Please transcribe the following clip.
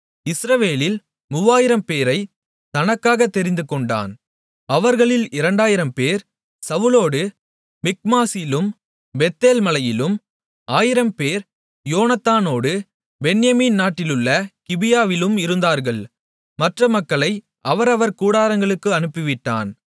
இஸ்ரவேலில் மூவாயிரம்பேரைத் தனக்காகத் தெரிந்துகொண்டான் அவர்களில் 2000 பேர் சவுலோடு மிக்மாசிலும் பெத்தேல் மலையிலும் 1000 பேர் யோனத்தானோடு பென்யமீன் நாட்டிலுள்ள கிபியாவிலும் இருந்தார்கள் மற்ற மக்களை அவரவர் கூடாரங்களுக்கு அனுப்பிவிட்டான்